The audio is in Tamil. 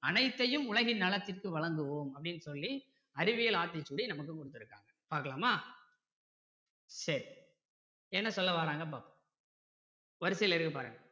அனைத்தையும் உலகின் நலத்திற்க்கு வழங்குவோம் அப்படின்னு சொல்லி அறிவியல் ஆத்திச்சூடியை நமக்கு கொடுத்திருக்காங்க பார்க்கலாமா சரி என்ன சொல்ல வராங்கன்னு பார்ப்போம் வரிசையில இருக்கு பாருங்க